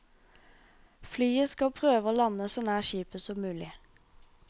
Flyet skal prøve å lande så nær skipet som mulig.